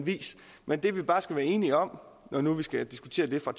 vis men det vi bare skal være enige om når nu vi skal diskutere det fra